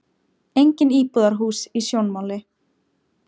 Engin íbúðarhús í sjónmáli.